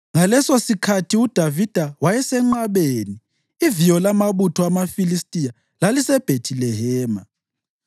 Ngalesosikhathi uDavida wayesenqabeni, iviyo lamabutho amaFilistiya laliseBhethilehema.